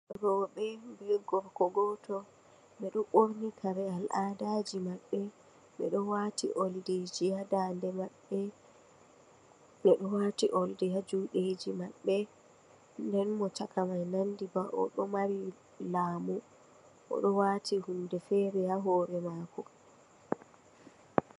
Rowbe be gorko goto. Beɗe wati kare al'aɗajimabbe. Beɗo wati olɗiji ha nɗaɗe mabbe. Beɗo wati olɗi ha juɗeji mabbe. Ɗen mo chaka ɗo nanɗi ba oɗo mari lamu. Oɗo wati hunɗe fere ha hore mako.